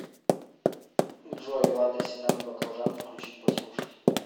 джой лада седан баклажан включить послушать